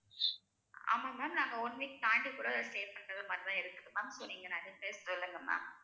ஆமா ma'am நாங்க one week தாண்டி கூட stay பண்றது மாதிரிதான் இருக்குது ma'am so நீங்க நிறைய places சொல்லுங்க ma'am